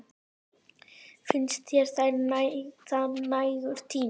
Finnst þér það nægur tími?